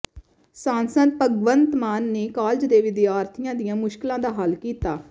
ਸਾਂਸਦ ਭਗਵੰਤ ਮਾਨ ਨੇ ਕਾਲਜ ਦੇ ਵਿਦਿਆਰਥੀਆਂ ਦੀਆਂ ਮੁਸ਼ਕਲਾਂ ਦਾ ਹੱਲ ਕੀਤਾ